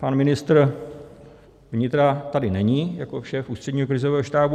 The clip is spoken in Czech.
Pan ministr vnitra tady není jako šéf Ústředního krizového štábu.